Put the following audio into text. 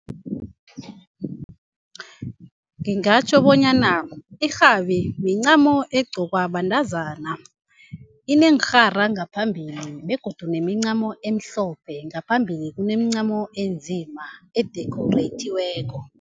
Ngingatjho bonyana irhabi mincamo egqokwa bantazana. Ineenrhara ngaphambili begodu nemincamo emhlophe ngaphambili kunemincamo enzima edikhorayithiweko.